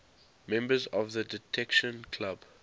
members of the detection club